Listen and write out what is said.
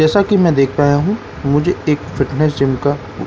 जैसा की मैं देख पाया हूँ मुझे एक फिटनैस जिम का --